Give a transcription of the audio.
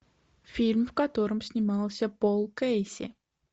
фильм в котором снимался пол кэйси